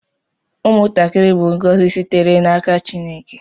Ụmụntakịrị bụ ngọzi sitere n’aka Chineke